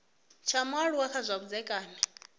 tsha mualuwa kha zwa vhudzekani